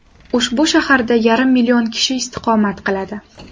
Ushbu shaharda yarim million kishi istiqomat qiladi.